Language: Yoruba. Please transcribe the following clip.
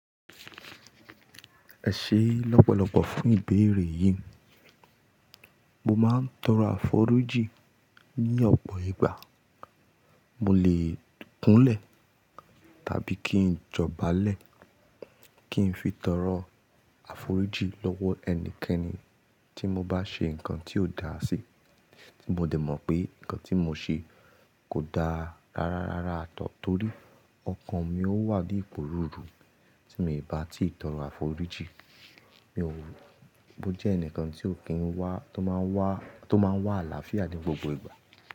Ẹ ṣé lọ́pọ̀lọ̀pọ̀ fún ìbéèrè yìí. Mo máa ń tọrọ àforíjì ní ọ̀pọ̀ ìgbà. Mo lè kúnlẹ̀ tàbí kí n jọba lẹ̀ kí n fi tọrọ àforíjì lọ́wọ́ ẹnikẹ́ni tí mo bá ṣe nǹkan tí ò da sí, tí mo dẹ̀ mọ̀ pé nǹkan tí mo ṣe kò da rara rárá at all torí ọkàn mi ó wà ní ìpò rúru tí mo ìbá ti tọrọ àforíjì. Mi ò, mo jẹ́ ẹnìkan tí ò kí ń wà, tó máa wà, tó máa wà àlàáfíà ní gbogbo ìgbà.